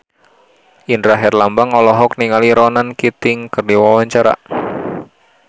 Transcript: Indra Herlambang olohok ningali Ronan Keating keur diwawancara